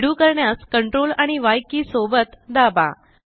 redo करण्यास CTRL आणि Y key सोबत दाबा